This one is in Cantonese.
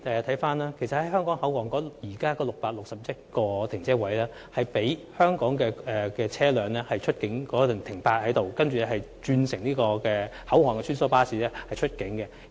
位於香港口岸的661個泊車位是供香港車輛在出境前停泊的，然後車主須轉乘口岸的穿梭巴士出境。